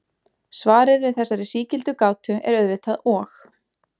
Svarið við þessari sígildu gátu er auðvitað og.